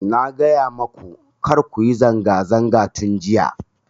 Na gaya maku kar kuyi zanga zanga tun jiya